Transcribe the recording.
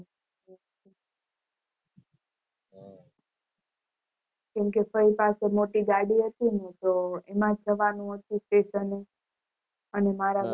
કેમ કે ફય પાસે મોટી ગાડી હતી નય તો એમાજ જવાનું હતું station અને મારા બા